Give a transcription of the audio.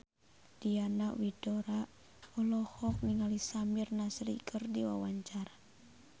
Diana Widoera olohok ningali Samir Nasri keur diwawancara